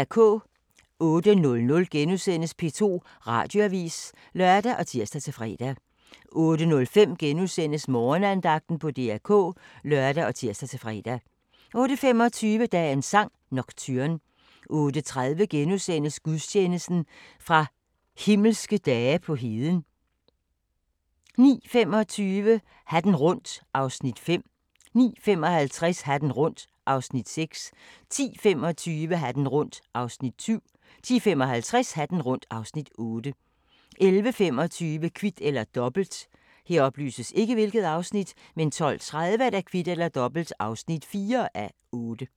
08:00: P2 Radioavis *(lør og tir-fre) 08:05: Morgenandagten på DR K *(lør og tir-fre) 08:25: Dagens sang: Nocturne 08:30: Gudstjeneste fra Himmelske Dage på Heden * 09:25: Hatten rundt (Afs. 5) 09:55: Hatten rundt (Afs. 6) 10:25: Hatten rundt (Afs. 7) 10:55: Hatten rundt (Afs. 8) 11:25: Kvit eller Dobbelt 12:30: Kvit eller Dobbelt (4:8)